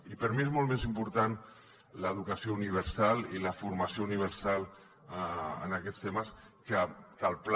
i per mi són molt més importants l’educació universal i la formació universal en aquests temes que el pla